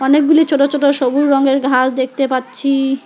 অনেকগুলি ছোট ছোট সবু রঙ্গের ঘাস দেখতে পাচ্ছি।